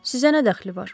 Sizə nə dəxli var?